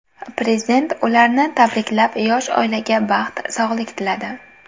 Prezident ularni tabriklab, yosh oilaga baxt, sog‘lik tiladi.